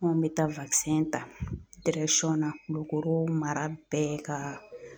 Anw bɛ taa ta na Kulukoro mara bɛɛ ka